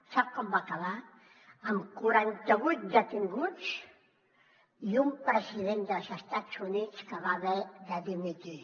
sap com va acabar amb quaranta vuit detinguts i un president dels estats units que va haver de dimitir